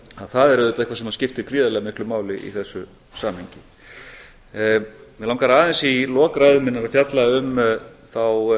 það er auðvitað eitthvað sem skiptir gríðarlega miklu máli í þessu samhengi mig langar aðeins í lok ræðu minnar að fjalla um þá